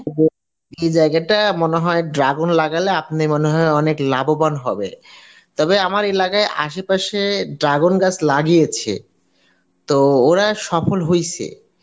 এই জায়গাটায় মনে হয় dragon লাগালে আপনি মনে হয় অনেক লাভবান হবেন তবে আমার এলাকায় আশেপাশে dragon গাছ লাগিয়েছে, তো ওরা সফল হইসে